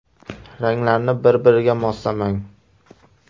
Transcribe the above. Ranglarni bir-biriga moslamang.